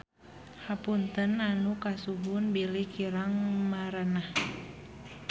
Hapunten anu kasuhun bilih kirang merenah.